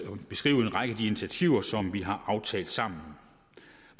beskrive en række af de initiativer som vi har aftalt sammen